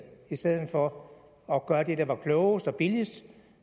i stedet for at gøre det der var klogest og billigst